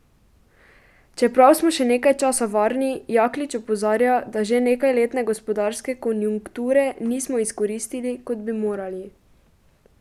Čeprav smo še nekaj časa varni, Jaklič opozarja, da že nekajletne gospodarske konjunkture nismo izkoristili, kot bi morali.